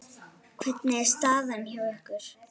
Hvernig er staðan hjá ykkur?